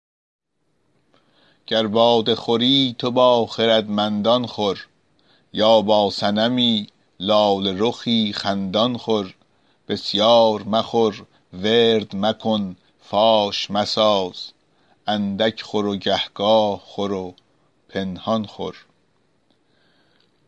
گر باده خوری تو با خردمندان خور یا با صنمی لاله رخی خندان خور بسیار مخور ورد مکن فاش مساز اندک خور و گهگاه خور و پنهان خور